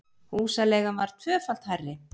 Húsaleigan var tvöfalt hærri